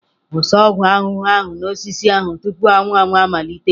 Wụsa ọgwụ ahụhụ ahụ n'osisi ahụ tupu anwụ anwụ amalite!